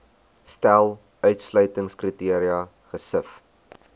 stel uitsluitingskriteria gesif